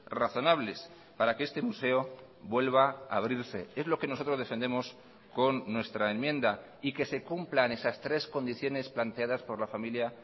razonables para que este museo vuelva a abrirse es lo que nosotros defendemos con nuestra enmienda y que se cumplan esas tres condiciones planteadas por la familia